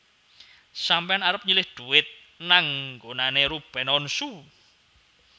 Sampean arep nyilih duit nang nggonane Ruben Onsu